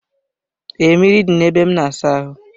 Ee, mmiri dị na-ebe a na-asa ahụ.